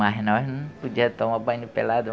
Mas nós não podia tomar banho pelado.